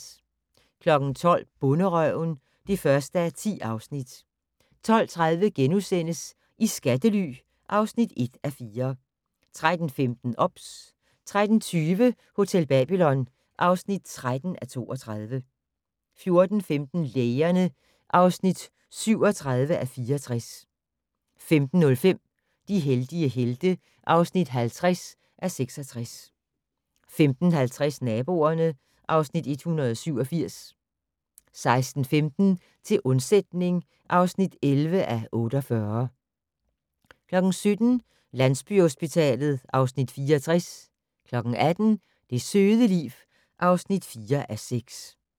12:00: Bonderøven (1:10) 12:30: I skattely (1:4)* 13:15: OBS 13:20: Hotel Babylon (13:32) 14:15: Lægerne (37:64) 15:05: De heldige helte (50:66) 15:50: Naboerne (Afs. 187) 16:15: Til undsætning (11:48) 17:00: Landsbyhospitalet (Afs. 64) 18:00: Det søde liv (4:6)